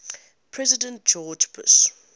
president george bush